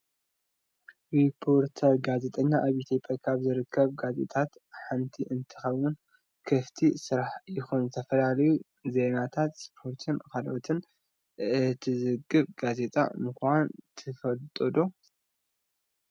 ሪፖርተር ጋዜጣ ኣብ ኢትዮጵያ ካብ ዝርከባ ጋዜጣታት ሓንቲ እንትከውን ክፍቲ ስራሕ ይኩን ዝተፈላለዩ ዜናታት ስፖርትን ካልኦትን እትዝግብ ጋዜጣ ምኳና ትፈልጡ ዶ?